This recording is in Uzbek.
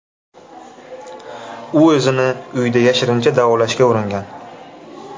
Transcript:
U o‘zini uyda yashirincha davolashga uringan.